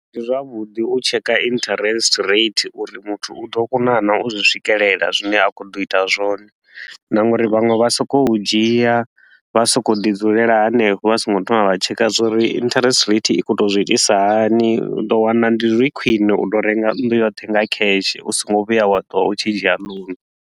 Ndi zwavhuḓi u tsheka interest rate uri muthu u ḓo kona naa u zwi swikelela zwine a khou ḓo ita zwone, na nga uri vhanwe vha so ko u dzhia vha so ko u ḓi dzulela hanefho vha so ngo thoma vha checker zwa uri interest rate i khou tou zwi itisa hani. U ḓo wana ndi zwi khwine u tou renga nnḓu yoṱhe nga cash u so ngo vhuya wa ṱuwa u tshi dzhia loan.